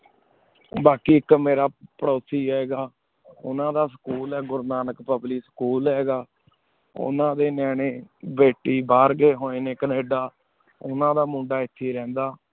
ਬਾਕੀ ਏਕ ਮੇਰਾ ਪਾਰੁਸੀ ਹੈਂ ਗਾ ਨੂਨਾ ਦਾ ਸਕੂਲ ਆਯ ਗੁਰ੍ਨੈਕ ਪੁਬ੍ਲਿਕ school ਹੈਂ ਗਾ ਉਨਾ ਡੀ ਨਿਯਾਨੀ ਬਾਤੀ ਬਹੇਰ ਗੀ ਹੂਯ ਨੀ ਕਿਨਿਦਾ ਨੂਨਾ ਦਾ ਮੁੰਡਾ ਏਥੀ ਵੇ ਰੰਡਾ